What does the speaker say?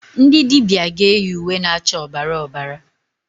Ndị dibịa ga eyi uwe na-acha ọbara ọbara.